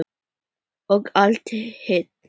Og allt hitt.